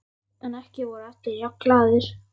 En ekki voru allir jafn glaðir.